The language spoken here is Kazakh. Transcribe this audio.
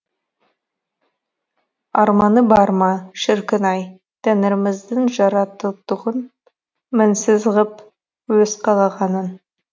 арманы бар ма шіркін ай тәңіріміздің жарататұғын мінсіз ғып өз қалағанын